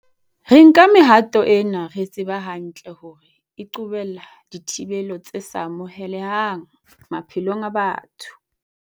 Re nka mehato ena re tseba hantle hore e qobella dithibelo tse sa amohelehang maphelong a batho.